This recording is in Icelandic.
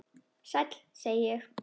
Sæll, segi ég.